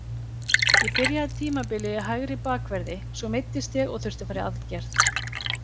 Ég byrjaði tímabilið í hægri bakverði, svo meiddist ég og þurfti að fara í aðgerð.